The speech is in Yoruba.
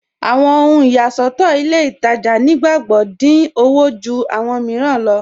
Awọn ohun iyàṣọ̀tọ̀ ilẹ̀ Ìtajà̀ nígbàgbọ́ dín ọwọ̀ jù awọn míìràn lọ.